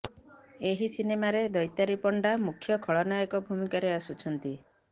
ଏହି ସିନେମାରେ ଦୈତାରୀ ପଣ୍ଡା ମୁଖ୍ୟ ଖଳନାୟକ ଭୂମିକାରେ ଆସୁଛନ୍ତି